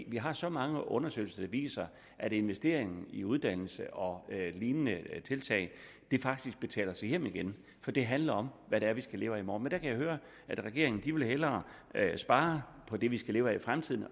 vi har så mange undersøgelser der viser at investering i uddannelse og lignende tiltag faktisk tjener sig hjem igen for det handler om hvad det er vi skal leve af i morgen kan høre at regeringen hellere vil spare på det vi skal leve af i fremtiden